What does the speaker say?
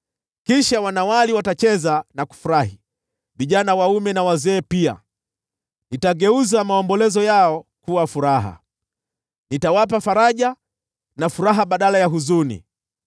Kisha wanawali watacheza na kufurahi, vijana waume na wazee pia. Nitageuza maombolezo yao kuwa furaha, nitawapa faraja na furaha badala ya huzuni.